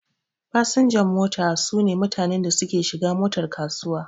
Fasinjan mota su ne mutanen da suke shiga motar kasuwa.